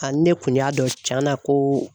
A ne kun y'a dɔn cɛn na ko.